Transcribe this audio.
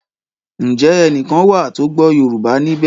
Njé ẹní kán wá tó gbó yorùbá níbè?